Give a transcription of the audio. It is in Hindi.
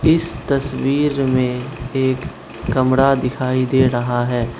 इस तस्वीर में एक कमरा दिखाई दे रहा है।